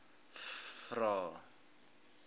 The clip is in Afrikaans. vvvvrae